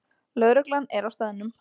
Lögreglan er á staðnum